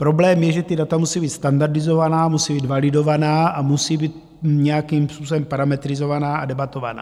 Problém je, že ta data musí být standardizovaná, musí být validovaná a musí být nějakým způsobem parametrizovaná a debatovaná.